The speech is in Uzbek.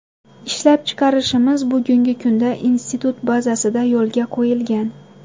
Ishlab chiqarishimiz bugungi kunda institut bazasida yo‘lga qo‘yilgan.